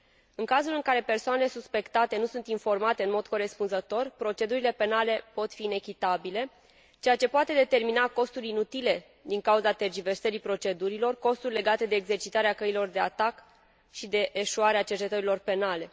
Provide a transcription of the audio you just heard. În cazul în care persoanele suspectate nu sunt informate în mod corespunzător, procedurile penale pot fi inechitabile, ceea ce poate determina costuri inutile din cauza tergiversării procedurilor, costuri legate de exercitarea căilor de atac și de eșuarea cercetărilor penale.